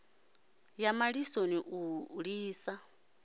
a ya malisoni u lisa